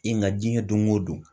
E nka diɲɛ don o don.